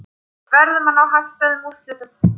Verðum að ná hagstæðum úrslitum